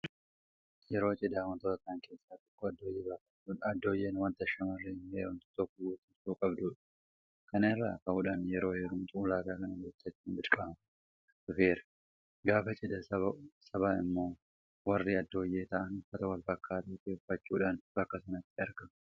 Yeroo cidhaa waantota ta'an keessaa tokko addooyyee baafachuudha. Addooyyeen waanta shaamarreen heerumtu tokko guuttachuu qabdudha. Kana irraa ka'uudhaan yeroo heerumtu ulaagaa kana guuttachuun dirqama ta'aa dhufeera. Gaafa cidhaa saba immoo warri addooyyee ta'an uffata walfakkaataa ta'e uffachuudhaan bakka sanatti argamu.